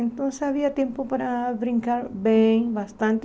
Então havia tempo para brincar bem, bastante.